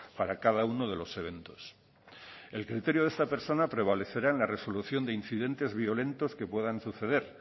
para cada uno de los eventos el criterio de esta personas prevalecerá en la resolución de incidentes violentos que puedan suceder